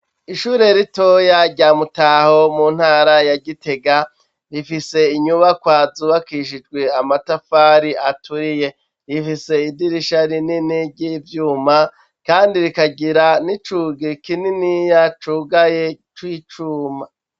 Ishure ritoya, rya Mutaho, mu ntara ya Gitega, rifise inyubakwa zubakishijwe amatafari aturiye; rifise idirisha rinini, ry'ivyuma, kandi rikagira n'icugi kininiya, cugaye, c'icuma.